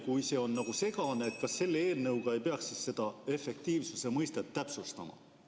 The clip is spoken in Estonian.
Kui see on, ütleme nii, segane, siis kas selle eelnõuga ei peaks seda efektiivsuse mõistet täpsustama?